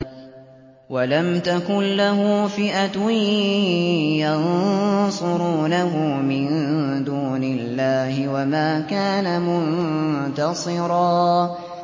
وَلَمْ تَكُن لَّهُ فِئَةٌ يَنصُرُونَهُ مِن دُونِ اللَّهِ وَمَا كَانَ مُنتَصِرًا